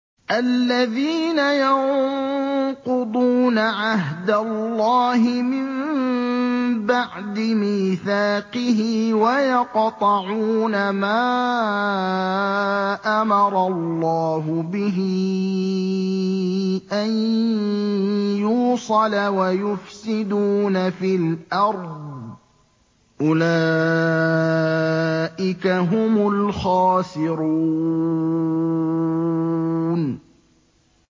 الَّذِينَ يَنقُضُونَ عَهْدَ اللَّهِ مِن بَعْدِ مِيثَاقِهِ وَيَقْطَعُونَ مَا أَمَرَ اللَّهُ بِهِ أَن يُوصَلَ وَيُفْسِدُونَ فِي الْأَرْضِ ۚ أُولَٰئِكَ هُمُ الْخَاسِرُونَ